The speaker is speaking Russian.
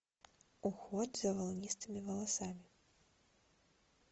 уход за волнистыми волосами